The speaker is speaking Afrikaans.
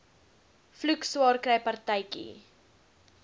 vloek swaarkry partytjie